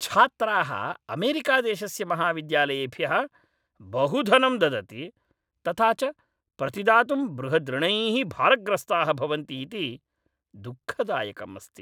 छात्राः अमेरिकादेशस्य महाविद्यालयेभ्यः बहु धनं ददति, तथा च प्रतिदातुं बृहद्ऋणैः भारग्रस्ताः भवन्ति इति दुःखदायकम् अस्ति।